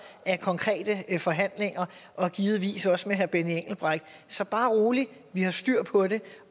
af konkrete forhandlinger og givetvis også med herre benny engelbrecht så bare rolig vi har styr på det